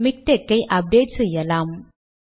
MiKTeX ஐ update செய்யலாம்